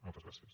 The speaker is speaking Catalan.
moltes gràcies